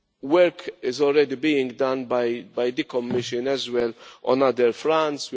Work is already being done by the Commission as well on other fronts.